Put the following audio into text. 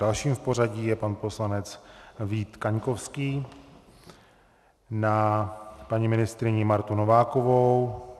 Dalším v pořadí je pan poslanec Vít Kaňkovský - na paní ministryni Martu Novákovou.